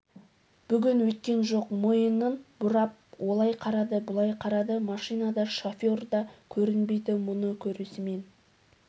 бүгін өйткен жоқ мойынын бұрып олай қарады бұлай қарады машина да шофер да көрінбейді мұны көрісімен